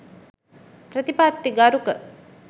ප්‍රතිපත්තිගරුක